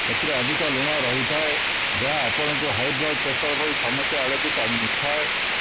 ଏଥିରେ ଅଧିକ ଲୁଣ ରହିଥାଏ ଯାହା ଆପଣଙ୍କୁ ହାଇବ୍ଲଡ୍ ପ୍ରେସର ଭଳି ସମସ୍ୟା ଆଡ଼କୁ ଟାଣି ନେଇଥାଏ